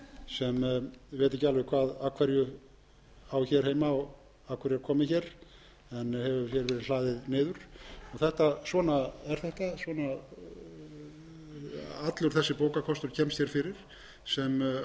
sem ég veit ekki alveg af hverju á hér heima og af hverju er komið hér en hér hefur verið hlaðið niður svona er þetta svona allur þessi bókakostur kemst hér fyrir sem að öðru jöfnu mundi vera